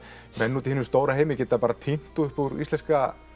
menn úti í hinum stóra heimi geti bara tínt upp úr íslenska